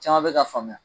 Caman bɛ ka faamuya